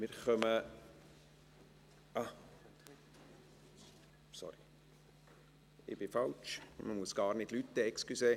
Entschuldigung, wir müssen noch gar nicht klingeln.